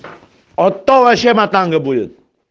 а то вообще будет